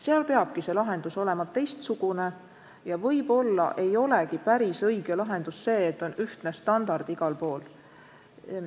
Seal peab lahendus olema teistsugune ja võib-olla ei olegi päris õige lahendus see, et on ühtne standard igal pool.